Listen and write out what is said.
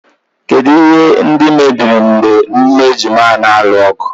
Kedụ ihe ndị mebiri mgbe ụmụ ejima ahụ na-alụ ọgụ.